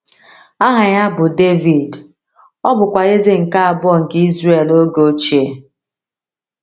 Aha ya bụ Devid, ọ bụkwa eze nke abụọ nke Izrel oge ochie.